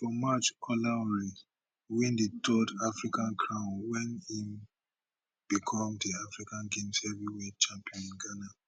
for march olaore win di third african crown wen im become di african games heavyweight champion in ghana